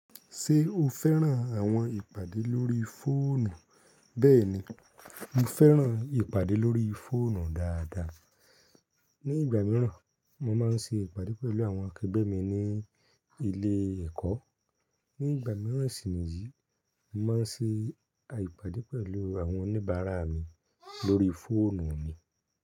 Ṣé o fẹ́ràn àwọn ìpàdé lórí fóònù? Bẹ́ẹ̀ni, mo fẹ́ràn ìpàdé lórí fóònù dáadáa. Ní ìgbà mìíràn, mo máa ń ṣe ìpàdé pẹ̀lú àwọn akẹgbẹ́ mi ní ilé-ẹ̀kọ́. Ní ìgbà mìíràn sì ni yìí, mo máa ń ṣe ìpàdé pẹ̀lú àwọn oníbàárà mi lórí fóònù mi.